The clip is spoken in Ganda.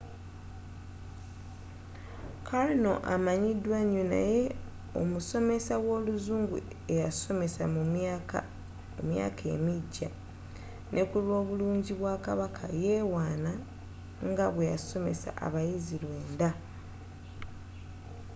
karno amanyiddwa nyo naye omusomesa w'oluzungu eyasomesa mu myaka emigya ne kulwobulungi bwa kabaka yewaana nga bweyasomesa abayizzi lwenda